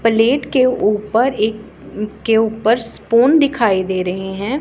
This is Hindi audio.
प्लेट के ऊपर एक के ऊपर स्पून दिखाई दे रहे हैं।